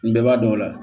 N bɛɛ b'a dɔn o la